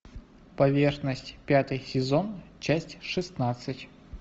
поверхность пятый сезон часть шестнадцать